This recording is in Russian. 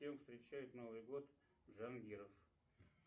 с кем встречает новый год джангиров